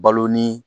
Balo ni